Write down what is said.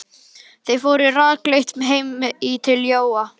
Þeir fóru rakleitt heim til Jóa.